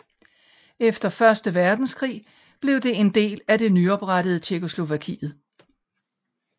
Efter første verdenskrig blev det en del af det nyoprettede Tjekkoslovakiet